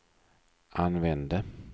använde